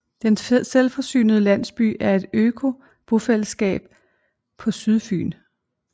Den Selvforsynende Landsby er et økobofællesskab på Sydfyn